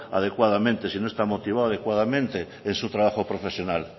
adecuadamente si no está motivado adecuadamente en su trabajo profesional